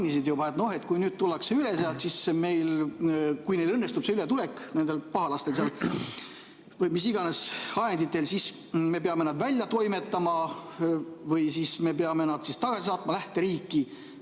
Sa siin juba mainisid, et kui nüüd tullakse sealt üle, kui õnnestub see ületulek nendel pahalastel mis iganes ajenditel, siis me peame nad välja toimetama või peame nad tagasi lähteriiki saatma.